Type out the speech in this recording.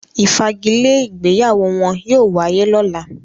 “ ìfagilé” ìgbéyàwó wọn yóò wáyé lọ́la.